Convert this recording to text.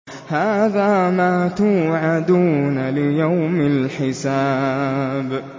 هَٰذَا مَا تُوعَدُونَ لِيَوْمِ الْحِسَابِ